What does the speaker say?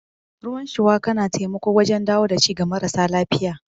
Ruwan shuwaka na taimako wajen dawo da ci ga marasa lafiya.